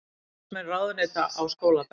Starfsmenn ráðuneyta á skólabekk